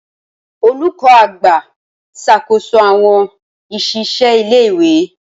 Olùkó àgbà ń ṣàkóso àwon iṣisẹ ilé ìwé